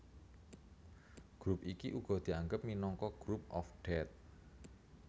Grup iki uga dianggep minangka Group of Death